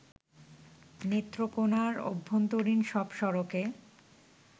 নেত্রকোণার অভ্যন্তরীণ সব সড়কে